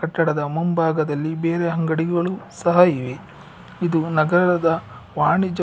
ಕಟ್ಟಡದ ಮುಂಭಾಗದಲ್ಲಿ ಬೇರೆ ಅಂಗಡಿಗಳು ಸಹ ಇವೆ ಇದು ನಗರದ ವಾಣಿಜ್ಯ--